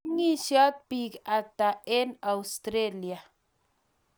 meng'isot biik ata eng' Australia?